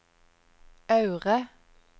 Aure